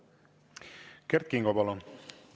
Kert Kingo, palun!